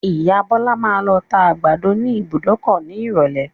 Ìya Bọ́lá máa lọ tá àgbàdo ní ìbùdókọ̀ ní ìrọ̀lé.